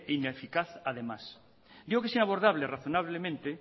ineficaz además digo que es inabordable razonablemente